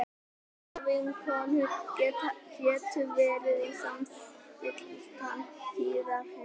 þessar vinkonur gætu verið með samstilltan tíðahring